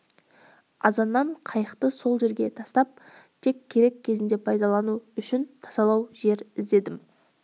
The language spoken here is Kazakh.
азаннан қайықты сол жерге тастап тек керек кезінде пайдалану үшін тасалау жер іздедім